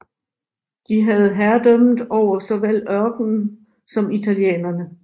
De havde herredømmet over såvel ørkenen som italienerne